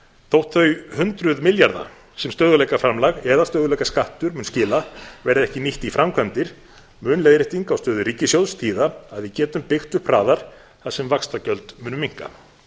þótt þau hundruð milljarða sem stöðugleikaframlag eða stöðugleikaskattur mun skila verði ekki nýtt í framkvæmdir mun leiðrétting á stöðu ríkissjóðs þýða að við getum byggt upp hraðar þar sem vaxtagjöld munu minnka